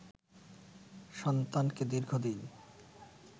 সন্তানকে দীর্ঘদিন